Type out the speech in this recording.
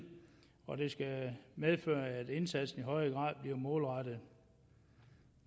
og det skal medføre at indsatsen i højere grad bliver målrettet